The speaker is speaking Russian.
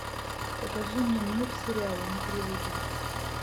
покажи мне мир сериала на телевизоре